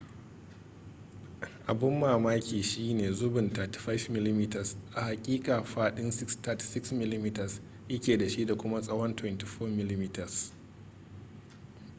abin mamaki shine zubin 35mm a haƙiƙa fadin 36mm ya ke da shi da kuma tsawon 24mm